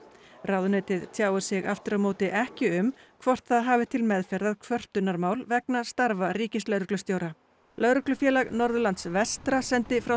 ráðuneytið tjáir sig aftur á móti ekki um hvort það hafi til meðferðar kvörtunarmál vegna starfa ríkislögreglustjóra Lögreglufélag Norðurlands vestra sendi frá